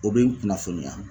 O be n kunnafoniya